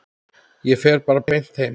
Ég fer bara beint heim.